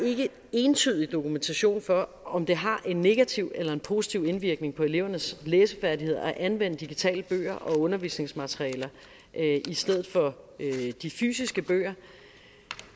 entydig dokumentation for om det har en negativ eller en positiv indvirkning på elevernes læsefærdigheder at anvende digitale bøger og undervisningsmaterialer i stedet for de fysiske bøger